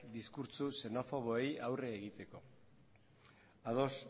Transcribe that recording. diskurtso xenofoboei aurre egiteko ados